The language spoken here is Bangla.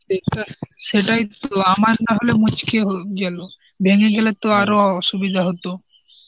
সেটাইতো আমার না হলে মুচকিয়ে গেল ভেঙে গেলে তো আরো অসুবিধা হতো.